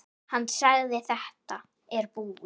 Hann sagði: Þetta er búið.